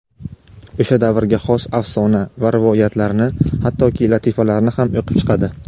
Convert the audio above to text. o‘sha davrga xos afsona va rivoyatlarni hattoki latifalarni ham o‘qib chiqadi.